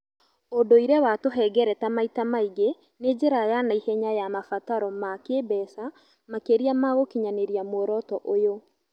ũndũire wa tũhengereta maita maingĩ nĩ njĩra ya naihenya ya mabataro ma kĩĩmbeca makĩria ma gũkinyanĩria mworoto ũyũ